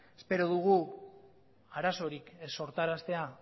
espero dugu arazorik ez sortaraztea